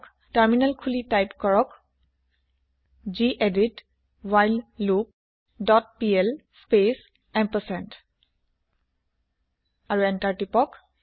terminal খুলি type কৰক গেদিত while loop dot pl space ampersand আৰু এন্তাৰ প্ৰেছ কৰক